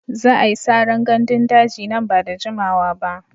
Za a yi saran gandun daji nan ba da jimawa ba.